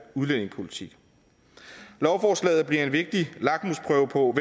udlændingepolitik lovforslaget bliver en vigtig lakmusprøve på